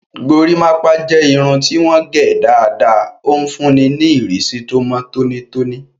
Gorímápá jẹ́ irun tí wọ́n gẹ̀ dáadáa, ó ń fúnni ní ìrísí tó mọ́ tónítóní